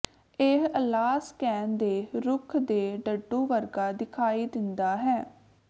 ਇਹ ਅਲਾਸਕੇਨ ਦੇ ਰੁੱਖ ਦੇ ਡੱਡੂ ਵਰਗਾ ਦਿਖਾਈ ਦਿੰਦਾ ਹੈ